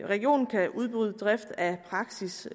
regionen kan udbyde drift af praksis